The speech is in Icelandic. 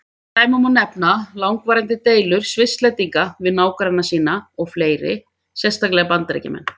Sem dæmi má nefna langvarandi deilur Svisslendinga við nágranna sína og fleiri, sérstaklega Bandaríkjamenn.